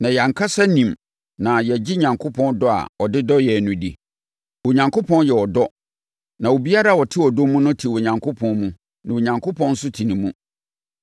Na yɛn ankasa nim na yɛgye Onyankopɔn dɔ a ɔde dɔ yɛn no di. Onyankopɔn yɛ ɔdɔ na obiara a ɔte ɔdɔ mu no te Onyankopɔn mu na Onyankopɔn nso te ne mu.